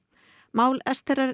mál